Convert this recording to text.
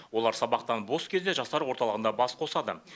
олар сабақтан бос кезде жастар орталығында бас қосады